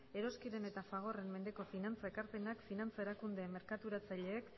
eroskiren eta fagorren mendeko finantza ekarpenak finantza erakunde merkaturatzaileek